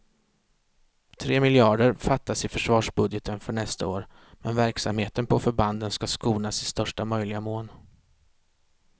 Tre miljarder fattas i försvarsbudgeten för nästa år, men verksamheten på förbanden ska skonas i största möjliga mån.